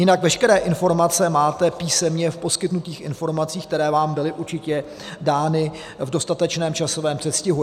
Jinak veškeré informace máte písemně v poskytnutých informacích, které vám byly určitě dány v dostatečném časovém předstihu.